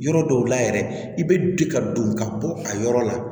Yɔrɔ dɔw la yɛrɛ i bɛ di ka don ka bɔ a yɔrɔ la